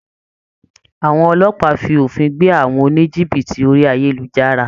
Àwọn Ọlọ́pàá fi òfin gbé àwọn oníjìbìtì orí ayélujára